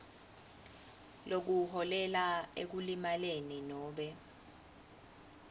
lokuholela ekulimaleni nobe